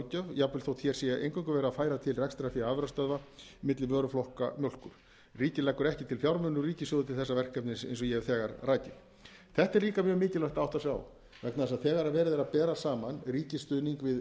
jafnvel þótt að hér sé eingöngu verið að færa til rekstrarfé afurðastöðva milli vöruflokka mjólkur ríkið leggur ekki til fjármuni úr ríkissjóði til þessa verkefnis eins og ég hef þegar rakið þessu er líka mjög mikilvægt að átta sig á vegna þess að þegar verið er að bera saman ríkisstuðning við